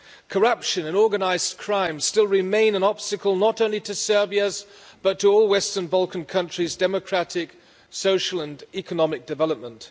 Corruption and organised crime still remain an obstacle, not only to Serbia's but to all Western Balkan countries' democratic, social and economic development.